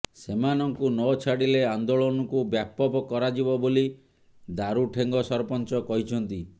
ସେମାନଙ୍କୁ ନ ଛାଡ଼ିଲେ ଆନ୍ଦୋଳନକୁ ବ୍ୟାପକ କରାଯିବ ବୋଲି ଦାରୁଠେଙ୍ଗ ସରପଞ୍ଚ କହିଛନ୍ତି